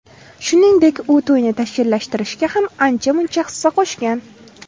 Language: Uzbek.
Shuningdek, u to‘yni tashkillashtirishga ham ancha-muncha hissa qo‘shgan.